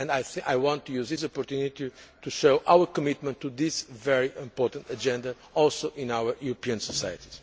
I want to use this opportunity to show our commitment to this very important agenda which is also in our European society.